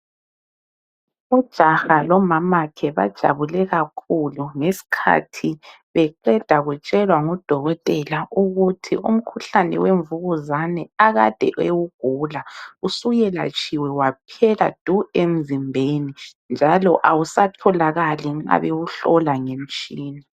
Ujaha lomamakhe bajabule kakhulu ngesikhathi beqeda kutshelwa ngudokotela ukuthi umkhuhlane wemvukuzane akade ewugula usuyelatshiwe waphela du emzimbeni njalo awusatholakali nxa bewuhlola ngemitshina.